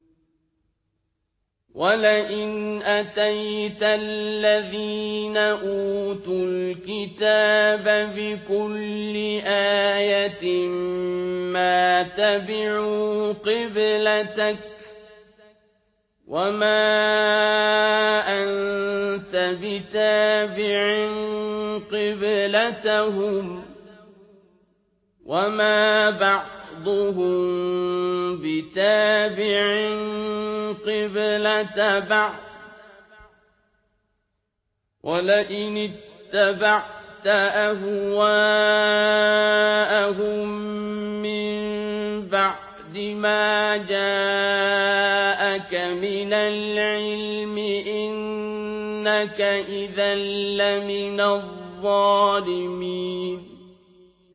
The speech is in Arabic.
وَلَئِنْ أَتَيْتَ الَّذِينَ أُوتُوا الْكِتَابَ بِكُلِّ آيَةٍ مَّا تَبِعُوا قِبْلَتَكَ ۚ وَمَا أَنتَ بِتَابِعٍ قِبْلَتَهُمْ ۚ وَمَا بَعْضُهُم بِتَابِعٍ قِبْلَةَ بَعْضٍ ۚ وَلَئِنِ اتَّبَعْتَ أَهْوَاءَهُم مِّن بَعْدِ مَا جَاءَكَ مِنَ الْعِلْمِ ۙ إِنَّكَ إِذًا لَّمِنَ الظَّالِمِينَ